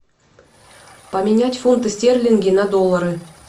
поменять фунты стерлинги на доллары